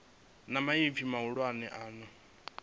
na maipfi mahulwane a no